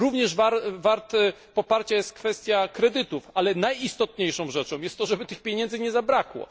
Również warta poparcia jest kwestia kredytów, ale najistotniejszą rzeczą jest to, żeby tych pieniędzy nie zabrakło.